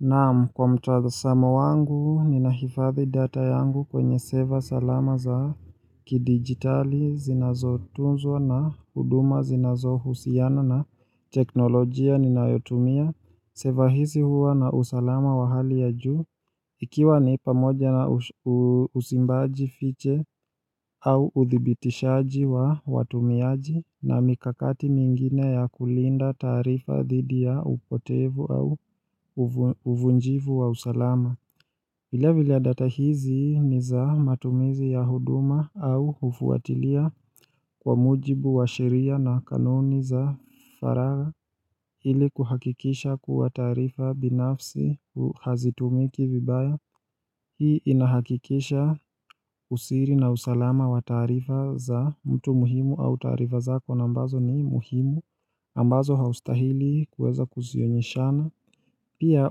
Naam kwa mtazamo wangu ninahifadhi data yangu kwenye seva salama za kidigitali zinazotunzwa na huduma zinazohusiana na teknolojia ninayotumia. Seva hizi huwa na usalama wa hali ya juu ikiwa ni pamoja na usimbaji fiche au uthibitishaji wa watumiaji na mikakati mingine ya kulinda taarifa dhidi ya upotevu au uvunjivu wa usalama vile vile data hizi ni za matumizi ya huduma au hufuatilia kwa mujibu wa sheria na kanuni za faragha ili kuhakikisha kuwa taarifa binafsi hazitumiki vibaya. Hii inahakikisha usiri na usalama wa taarifa za mtu muhimu au tarifa zako na ambazo ni muhimu ambazo haustahili kuweza kuzionyeshana. Pia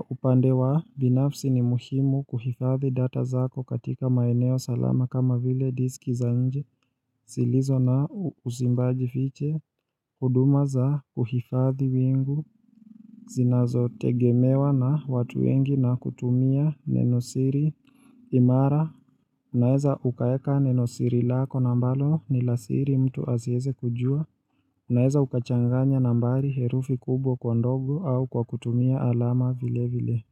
upande wa binafsi ni muhimu kuhifadhi data zako katika maeneo salama kama vile diski za nje, zilizo na usimbaji fiche, huduma za kuhifadhi wingu, zinazo tegemewa na watu wengi na kutumia nenosiri, imara, unaeza ukaeka nenosiri lako na ambalo ni la siri mtu asiweze kujua, unaeza ukachanganya nambari herufi kubwa kwa ndogo au kwa kutumia alama vile vile.